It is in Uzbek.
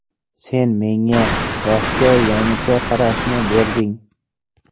Sen menga vaqtga yangicha qarashni berding.